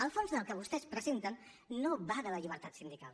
el fons del que vostès presenten no va de la llibertat sindical